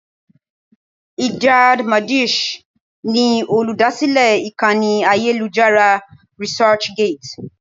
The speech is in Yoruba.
Ijad Madisch ni olúdásílè ìkànnì ayélujára Researchgate.